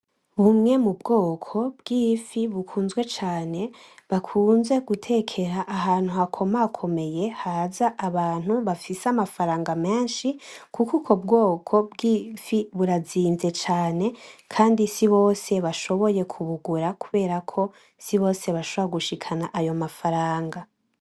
Bumwe mu bwoko bw'imfi bukunzwe cane bakunze gutekera ahantu hakomakomeye haza abantu bafise amafaranga menshi, kuko uko bwoko bw'ifi burazinze cane, kandi si bose bashoboye kubugura, kubera ko si bose bashora gushikana ayo mafa faranga.